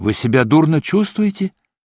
вы себя дурно чувствуете